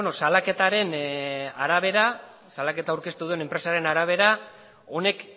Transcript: salaketa aurkeztu duen enpresaren arabera honek